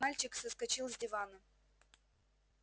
мальчик соскочил с дивана